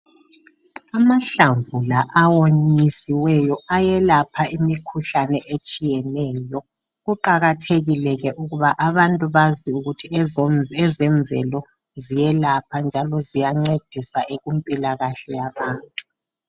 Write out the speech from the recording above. Amahlamvu la awonyisiweyo ayelapha imikhuhlane etshiyeneyo, kuqakathekile ke ukuba abantu bazi ukuthi ezo ezemvelo ziyelapha njalo ziyancedisa ekumpilakahle yabantu.